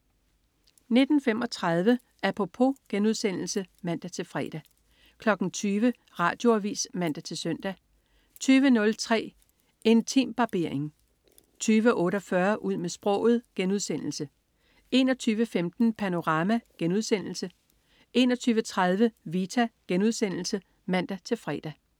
19.35 Apropos* (man-fre) 20.00 Radioavis (man-søn) 20.03 Intimbarbering 20.48 Ud med sproget* 21.15 Panorama* 21.30 Vita* (man-fre)